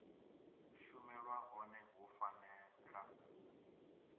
shumelwa hone hu fanela u